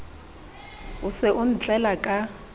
o se o ntlela ka